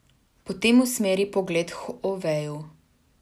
Potem usmeri pogled k Oveju.